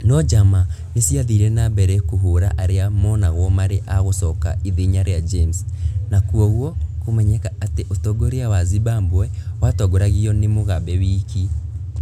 No njama nĩ ciathiire na mbere kũhũũra arĩa monagwo marĩ a gũcoka ithenya rĩa James, na kwoguo kũmenyeka atĩ ũtongoria wa Zimbabwe watongoragio nĩ Mugabe wiki.